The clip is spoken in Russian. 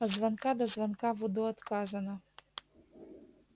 от звонка до звонка в удо отказано